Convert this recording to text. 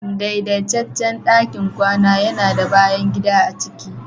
daidaitaccen ɗakin kwana yana da bayan gida a ciki